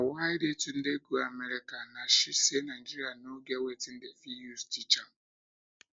na why yetunde go america nah she say nigeria no get wetin dem fit use teach am